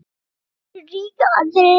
Sumir eru ríkir, aðrir ekki.